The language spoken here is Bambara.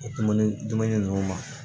O kuma ni dumuni ninnu ma